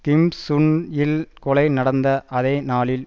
கிம் சுன் இல் கொலை நடந்த அதே நாளில்